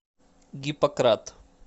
гиппократ